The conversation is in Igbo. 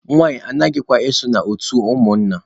Nwanyị anaghịkwa eso na otu ụmụnna.